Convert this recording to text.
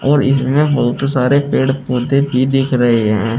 और इसमें बहोत सारे पेड़ पौधे भी देख रहे हैं।